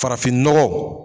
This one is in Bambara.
Farafinnɔgɔ